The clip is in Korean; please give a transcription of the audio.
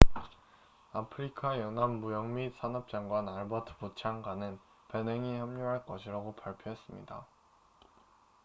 아프리카 연합 무역 및 산업 장관 알버트 무찬가는 베냉이 합류할 것이라고 발표했습니다